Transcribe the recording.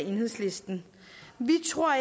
enhedslisten vi tror